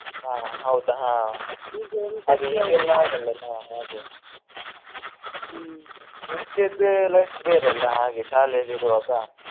ಹಾ ಹೌದು ಹಾ ಅದೇ ಈಗೆಲ್ಲಾ ಆಗಲ್ಲ ಅಲ್ಲಾ ಮುಂಚೆದೆ life ಬೇರೆಯಲ್ಲ ಹಾಗೆ ಶಾಲೆಯಲ್ಲಿ ಇರುವಾಗ.